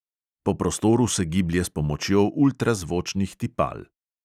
Po prostoru se giblje s pomočjo ultrazvočnih tipal.